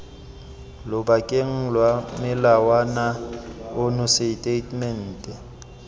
lobakeng lwa molawana ono setatamente